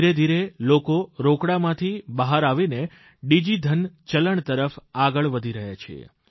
ધીરે ધીરે લોકો રોકડામાંથી બહાર આવીને ડીજીધન ચલણ તરફ આગળ વધી રહ્યા છીએ